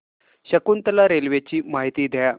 Shakuntala railway ची माहिती द्या